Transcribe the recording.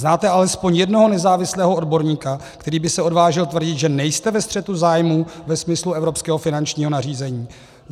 Znáte alespoň jednoho nezávislého odborníka, který by se odvážil tvrdit, že nejste ve střetu zájmů ve smyslu evropského finančního nařízení?